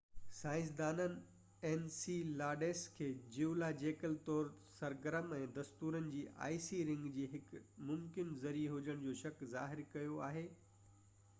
سائنسدانن انسيلاڊس کي جيولاجيڪل طور تي سرگرم ۽ ستورن جي آئسي رنگ جي هڪ ممڪن ذريعي هجڻ جو شڪ ظاهر ڪيو آهي